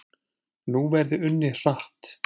Nú verði unnið hratt